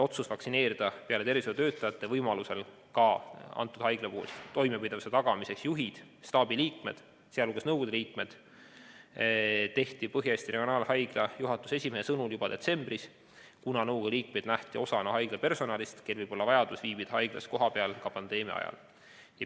Otsus vaktsineerida peale tervishoiutöötajate võimaluse korral ka haigla toimepidevuse tagamiseks selle juhid, staabi liikmed, sh nõukogu liikmed, tehti Põhja-Eesti Regionaalhaigla juhatuse esimehe sõnul juba detsembris, kuna nõukogu liikmeid nähti osana haigla personalist, kellel võib olla vajadus viibida haiglas kohapeal ka pandeemia ajal.